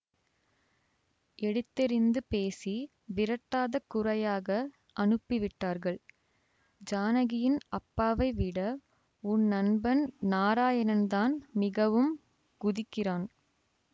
எடுத்தெறிந்து பேசி விரட்டாத குறையாக அனுப்பிவிட்டார்கள் ஜானகியின் அப்பாவை விட உன் நண்பன் நாராயணன்தான் மிகவும் குதிக்கிறான்